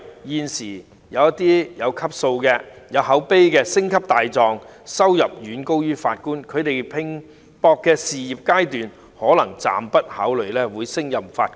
現時，那些有級數、有口碑的"星級大狀"的收入遠高於法官，他們在拼搏的事業階段可能暫時不會考慮擔任法官。